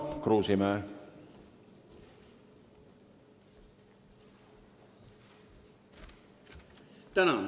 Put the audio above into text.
Tarmo Kruusimäe.